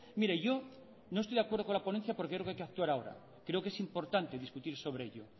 mire yo no estoy de acuerdo con la ponencia porque creo que hay que actuar ahora creo que es importante discutir sobre ello